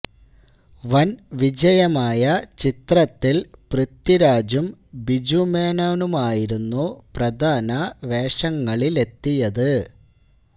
വന് വിജയമായ ചിത്രത്തില് പൃഥ്വിരാജും ബിജു മേനോനുമായിരുന്നു പ്രധാന വേഷങ്ങളിലെത്തിയത്